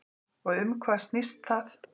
Og um hvað snýst það?